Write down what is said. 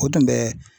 O tun bɛ